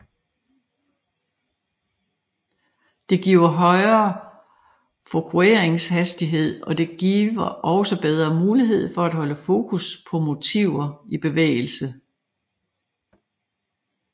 Det giver højere fokueringshastighed og der giver også bedre mulighed for at holde fokus på motiver i bevægelse